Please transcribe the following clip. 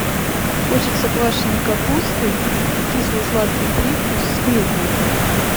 хочется квашеной капусты кисло сладкий привкус с клюквой